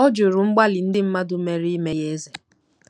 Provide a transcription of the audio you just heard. Ọ jụrụ mgbalị ndị mmadụ mere ime ya eze.